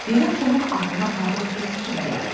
Birdən Tomun ağlına parlaq bir fikir gəldi.